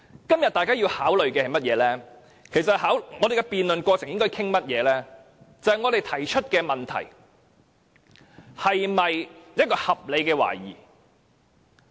今天大家要考慮的是甚麼，我們在辯論過程中應討論些甚麼？就是我們提出的問題是否合理的懷疑。